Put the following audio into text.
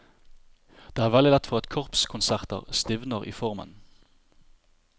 Det er veldig lett for at korpskonserter stivner i formen.